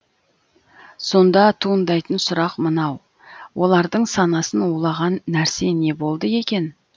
сонда туындайтын сұрақ мынау олардың санасын улаған нәрсе не болды екен